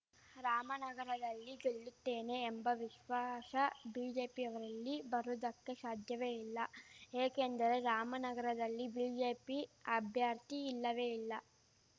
ರಾಮನಗರದಲ್ಲಿ ಗೆಲ್ಲುತ್ತೇನೆ ಎಂಬ ವಿಶ್ವಾಶ ಬಿಜೆಪಿಯವರಲ್ಲಿ ಬರುವುದಕ್ಕೆ ಶಾಧ್ಯವೇ ಇಲ್ಲ ಏಕೆಂದರೆ ರಾಮನಗರದಲ್ಲಿ ಬಿಜೆಪಿ ಅಭ್ಯರ್ಥಿ ಇಲ್ಲವೇ ಇಲ್ಲ